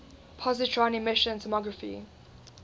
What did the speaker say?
positron emission tomography